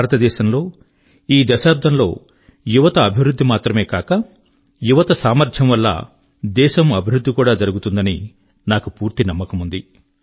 భారతదేశం లో ఈ దశాబ్దం లో యువత యొక్క అభివృద్ధి మాత్రమే కాక యువత యొక్క సామర్థ్యం వల్ల దేశం యొక్క అభివృద్ధి కూడా జరుగుతుందని నాకు పూర్తి నమ్మకముంది